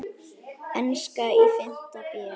Enska í fimmta bé.